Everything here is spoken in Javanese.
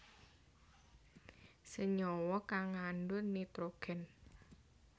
Senyawa kang ngandhut nitrogen